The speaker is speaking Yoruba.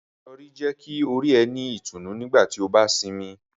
Irọri jẹ ki ori rẹ ni itunu nigbati o ba sinmi.